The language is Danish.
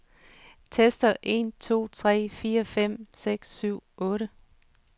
Tester en to tre fire fem seks syv otte.